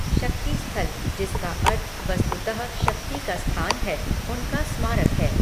शक्ति स्थल जिसका अर्थ वस्तुतः शक्ति का स्थान है, उनका स्मारक है।